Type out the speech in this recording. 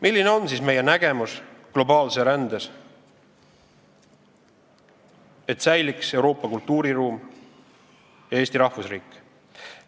Milline on siis meie nägemus globaalsest rändest, et säiliks Euroopa kultuuriruum ja Eesti rahvusriik?